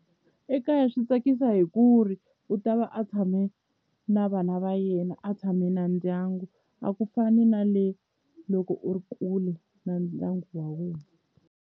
Ekaya swi tsakisa hi ku ri u ta va a tshame na vana va yena a tshame na ndyangu a ku fani na le loko u ri kule na ndyangu wa wena.